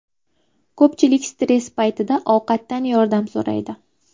Ko‘pchilik stress paytida ovqatdan yordam so‘raydi.